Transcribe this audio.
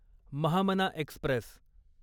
Mahamana Express